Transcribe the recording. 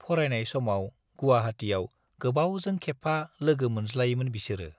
फरायनाय समाव गुवाहाटियाव गोबावजों खेबफा लोगो मोनज्लायोमोन बिसोरो।